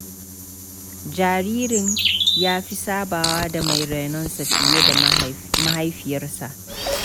Jaririn ya fi sabawa da mai rainonsa fiye da mahaifiyarsa.